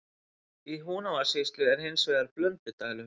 Í Húnavatnssýslu er hins vegar Blöndudalur.